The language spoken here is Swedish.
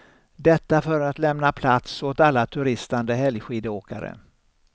Detta för att lämna plats åt alla turistande helgskidåkare.